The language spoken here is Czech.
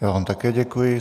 Já vám také děkuji.